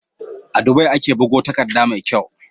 A Dubai ake bugo takadda me kyau